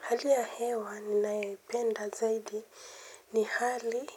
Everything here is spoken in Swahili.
Hali ya hewa ninayoipenda zaidi ni hali